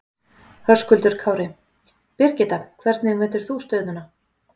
Höskuldur Kári: Birgitta, hvernig metur þú stöðuna?